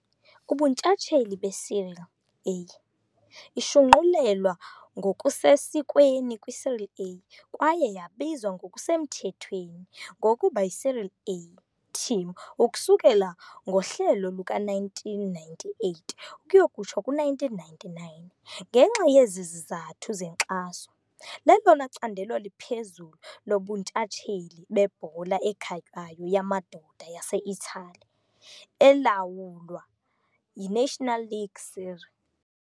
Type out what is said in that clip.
Ubuntshatsheli beSerie A, ishunqulelwa ngokusesikweni kwiSerie A kwaye yabizwa ngokusemthethweni ngokuba yiSerie A TIM ukusukela ngohlelo luka -1998-1999 ngenxa yezizathu zenkxaso, lelona candelo liphezulu lobuntshatsheli bebhola ekhatywayo yamadoda yaseItali, elawulwa yiNational League Serie.